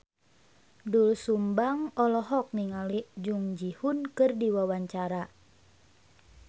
Doel Sumbang olohok ningali Jung Ji Hoon keur diwawancara